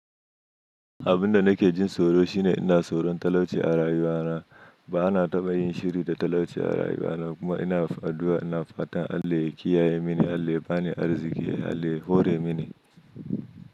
Abun da nake jin tsoro shine ina tsoron talauci a rayuwa na. Ba na taɓa yin shiri da talauci a rayuwa na kuma ina addu'a, ina fatan Allah ya kiyaye mini, Allah ya bani arziki, Allah ya hore mini.